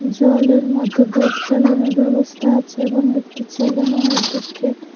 জলের মধ্যে বোট চালানোর ব্যবস্থা আছে এবং একটি ছেলে মনের দুঃখে--